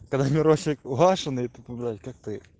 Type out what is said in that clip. когда мирошик угашенный тупо блять как ты